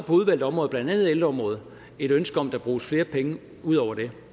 udvalgte områder blandt andet ældreområdet et ønske om at der bruges flere penge ud over det